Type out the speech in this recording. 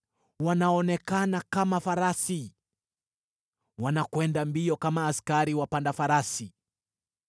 Wanaonekana kama farasi; wanakwenda mbio kama askari wapanda farasi.